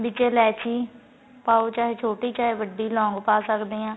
ਵਿਚ ਇਲਾਇਚੀ ਪਾਉ ਚਾਹੇ ਛੋਟੀ ਚਾਹੇ ਵੱਡੀ ਲੋਂਗ ਪਾ ਸਕਦੇ ਆ